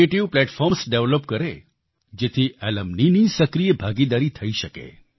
creative platforms develop કરે જેથી alumniની સક્રિય ભાગીદારી થઈ શકે